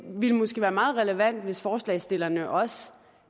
ville måske være meget relevant hvis forslagsstillerne også